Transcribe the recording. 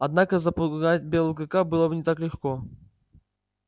однако запугать белого клыка было бы не так легко